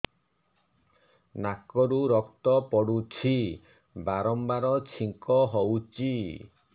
ନାକରୁ ରକ୍ତ ପଡୁଛି ବାରମ୍ବାର ଛିଙ୍କ ହଉଚି